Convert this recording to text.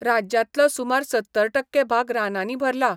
राज्यांतलो सुमार सत्तर टक्के भाग रानांनी भरला.